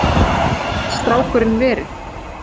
Hvar gat strákurinn verið?